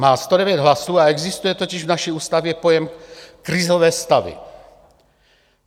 Má 109 hlasů a existuje totiž v naší ústavě pojem "krizové stavy".